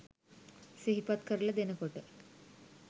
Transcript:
සිහිපත් කරල දෙනකොට